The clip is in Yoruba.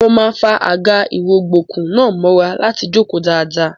Mo máa fa àga-ìrọ̀gbọ̀kú náà mọ́ra láti jókòó dáadáa.